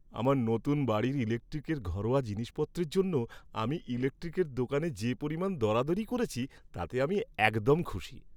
আমার নতুন বাড়ির ইলেকট্রিকের ঘরোয়া জিনিসপত্রের জন্য আমি ইলেকট্রিকের দোকানে যে পরিমাণ দরাদরি করেছি তাতে আমি একদম খুশি।